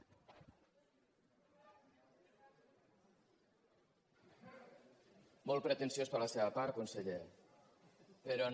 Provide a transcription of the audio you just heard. molt pretensiós per la seva part conseller però no